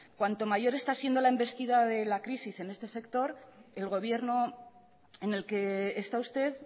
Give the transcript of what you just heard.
cuanto mayor está siendo la envestida de la crisis en este sector el gobierno en el que está usted